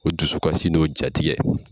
O dusu kasi n'o jatigɛ